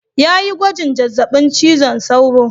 Ya yi gwajin zazzabin cizon sauro.